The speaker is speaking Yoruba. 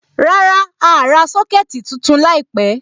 Rárá, a à ra Sọ́kẹ̀tì tuntun láìpẹ̀.